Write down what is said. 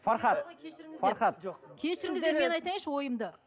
фархад кешіріңіздер мен айтайыншы ойымды